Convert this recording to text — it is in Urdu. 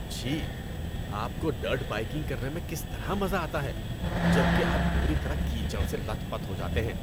چھی۔ آپ کو ڈرٹ بائیکنگ کرنے میں کس طرح مزہ آتا ہے جبکہ آپ پوری طرح کیچڑ سے لت پت ہو جاتے ہیں؟